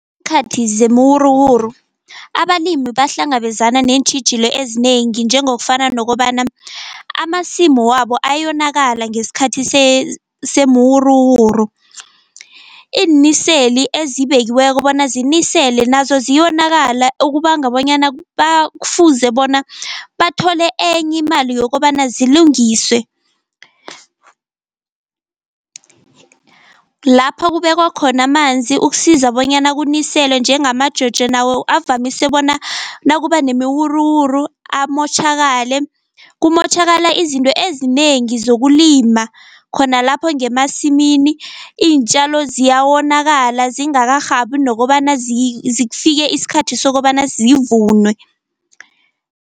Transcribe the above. zemiwuruwuru abalimi bahlangabezana neentjhijilo ezinengi, njengokufana nokobana amasimu wabo ayonakala ngesikhathi semiwuruwuru. Iiniseli ezibekiweko bona zinisele nazo ziyonakala, okubanga bonyana kufuze bona bathole enye imali yokobana zilungiswe. Lapho kubekwa khona amanzi ukusiza bonyana kuniselwe njengama-Jojo, nawo avamise bona nakuba nemiwuruwuru amotjhakale. Kumotjhakala izinto ezinengi zokulima khona lapho ngemasimini, iintjalo ziyawonakala zingakarhabi nokobana zifike isikhathi sokobana zivunwe.